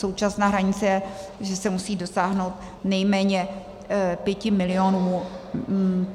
Současná hranice je, že se musí dosáhnout nejméně 5 milionů.